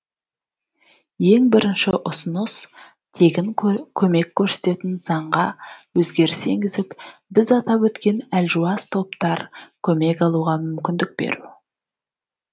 ең бірінші ұсыныс тегін көмек көрсететін заңға өзгеріс енгізіп біз атап өткен әлжуаз топтар көмек алуға мүмкіндік беру